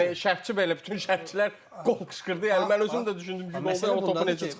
Yəni şərhçi belə bütün şərhçilər qol qışqırdı, yəni mən özüm də düşündüm ki, o topu necə çıxartdı.